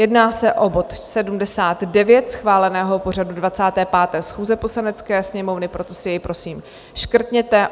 Jedná se o bod 79 schváleného pořadu 25. schůze Poslanecké sněmovny, proto si jej prosím škrtněte.